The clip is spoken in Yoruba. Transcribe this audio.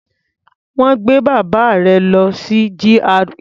Wọ́n gbé bàbá rẹ̀ lọ sí GRA.